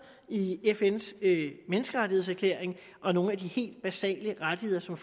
i fns menneskerettighedserklæring og nogle af de helt basale rettigheder som